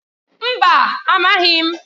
Mba! Amaghị m.